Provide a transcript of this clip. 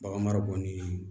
Baganmara bɔnni